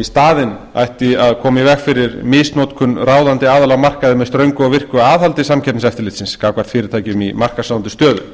í staðinn ætti að koma í veg fyrir misnotkun ráðandi aðila á markaði með ströngu og virku aðhaldi samkeppniseftirlitsins gagnvart fyrirtækjum í markaðsráðandi stöðu